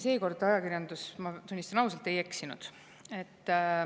Seekord ajakirjandus, ma tunnistan ausalt, ei eksinud.